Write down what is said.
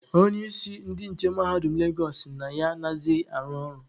Onye isi ndị nche mahadum Legosụ sị na ya anaghịzị arụ ọrụ.